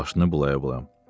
Başını bulaya-bulaya.